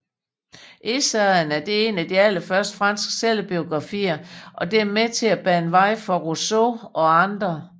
Essayene er en af de allerførste franske selvbiografier og er med til at bane vejen for Rousseau og andre